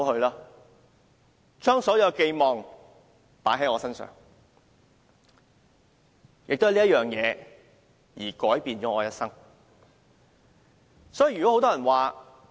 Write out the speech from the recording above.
他們將所有希望寄託在我身上，因而改變了我的一生。